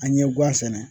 An ye gan sɛnɛ